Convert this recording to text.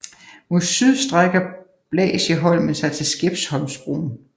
Mod syd strækker Blasieholmen sig til Skeppsholmsbron